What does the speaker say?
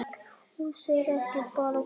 Hús er ekki bara hús